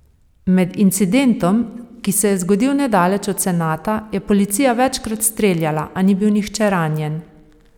Med incidentom, ki se je zgodil nedaleč o senata, je policija večkrat streljala, a ni bil nihče ranjen.